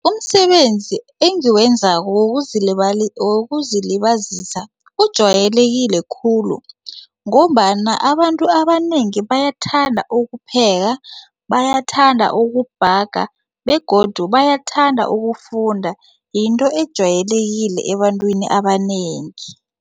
Umsebenzi engiwenzako wokuzilibazisa ujwayelekile khulu ngombana abantu abanengi bayathanda ukupheka bayathanda ukubhaga begodu bayathanda ukufunda yinto ejwayelekileko ebantwini abanengi.